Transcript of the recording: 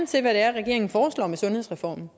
til hvad regeringen foreslår med sundhedsreformen